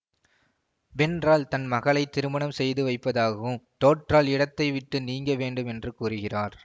வென்றால் தன் மகளைத் திருமணம் செய்து வைப்பதாகவும் தோற்றால் இடத்தைவிட்டு நீங்க வேண்டும் என்றும் கூறுகிறார்